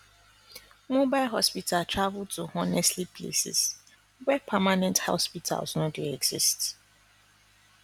mobile hospital travel to honestly places where permanent hospitals no dey exist